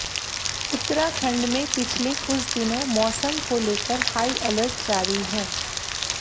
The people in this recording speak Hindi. उत्तराखंड में पिछले कुछ दिनों मौसम को लेकर हाई अलर्ट जारी है